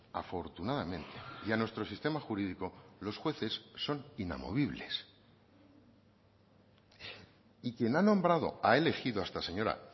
afortunadamente y a nuestro sistema jurídico los jueces son inamovibles y quien ha nombrado o ha elegido a esta señora